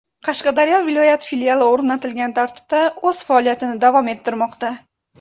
Qashqadaryo viloyat filiali o‘rnatilgan tartibda o‘z faoliyatini davom ettirmoqda.